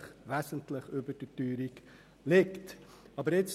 Dieses liegt wesentlich – wesentlich! – über der Teuerung.